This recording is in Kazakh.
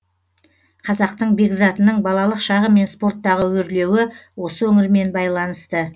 қазақтың бекзатының балалық шағы мен спорттағы өрлеуі осы өңірмен байланысты